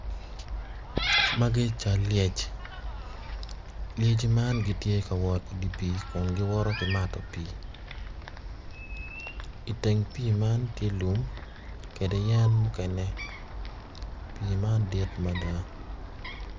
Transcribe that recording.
Magi cal lyec lyecci man gitye ka i di pii kun giwoto ki mato pii iteng pii man tye lum kede yen mukene pii man dit mada